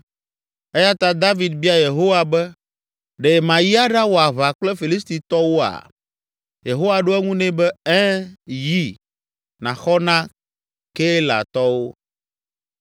eya ta David bia Yehowa be, “Ɖe mayi aɖawɔ aʋa kple Filistitɔwoa?” Yehowa ɖo eŋu nɛ be, “Ɛ̃, yi, nàxɔ na Keilatɔwo.”